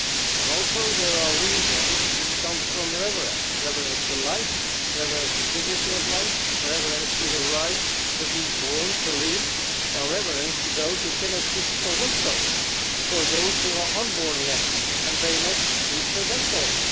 And also there are reasons which come from reverence reverence to life, reverence to dignity of life, reverence to the right to be born and to live, and reverence to those who cannot speak for themselves for those who are unborn yet and cannot speak for themselves.